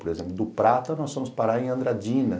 Por exemplo, do Prata nós fomos parar em Andradina.